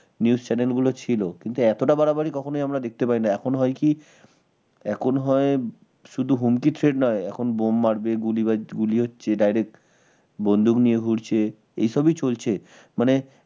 news channel গুলো ছিল কিন্তু এতটা বাড়াবাড়ি কখনোই আমরা দেখতে পাইনি এখন হয় কি এখন হয় শুধু হুমকি threat নয় এখন বোম মারবে গুলি গুলি হচ্ছে direct বন্দুক নিয়ে ঘুরছে এসবই চলছে, মানে